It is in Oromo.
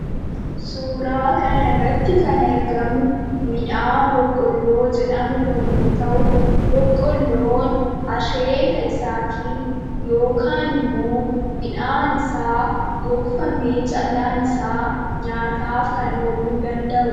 Suuraa kana irratti kan argamu midhaan boqqolloo jedhamu yemmuu ta'u, boqqolloon asheeta isaaatiin yookaan ammoo midhaan isaa gogfamee callaan isaa nyaataaf kan ooluu danda'udha.